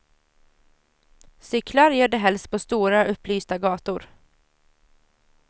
Cyklar gör de helst på stora, upplysta gator.